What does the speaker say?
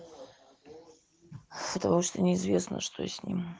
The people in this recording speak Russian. потому что неизвестно что с ним